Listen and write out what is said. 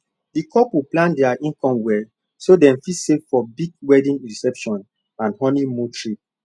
the couple plan their income well so dem fit save for big wedding reception and honeymoon trip